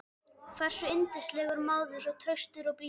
hversu yndislegur maður, svo traustur, svo blíður.